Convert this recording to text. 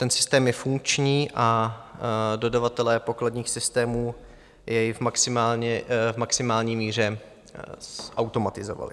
Ten systém je funkční a dodavatelé pokladních systémů jej v maximální míře zautomatizovali.